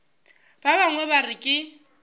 ba bangwe ba re ke